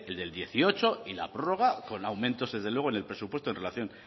del dieciocho y la prórroga con aumentos desde luego en el presupuesto en relación